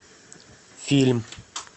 фильм